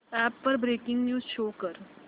app वर breaking news show कर